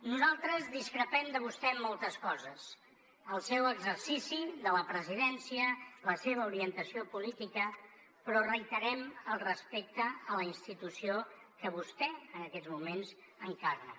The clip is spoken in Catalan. nosaltres discrepem de vostè en moltes coses el seu exercici de la presidència la seva orientació política però reiterem el respecte a la institució que vostè en aquests moments encarna